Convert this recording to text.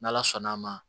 N' ala sɔnn'a ma